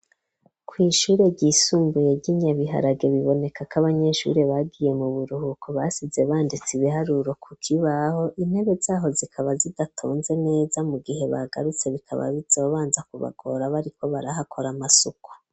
Kw ishuri ryisumbuye ryi Nyabiharage biboneka ko abanyeshuri bagiye mu buruhuko basize banditse ibiharuro ku kibaho, intebe zaho zikaba zidatonze neza mu gihe bagarutse bikaba bizobanza kubagorabo ariko barahakora amasuku.